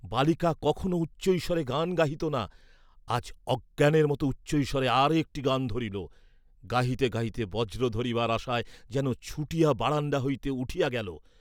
বালিকা কখনও উচ্চৈঃস্বরে গান গাহিত না, আজ অজ্ঞানের মত উচ্চৈঃস্বরে আর একটি গান ধরিল, গাহিতে গাহিতে বজ্র ধরিবার আশায় যেন ছুটিয়া বারাণ্ডা হইতে উঠিয়া গেল।